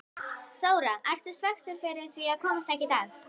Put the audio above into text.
Þóra: Ertu svekktur yfir því að komast ekki í dag?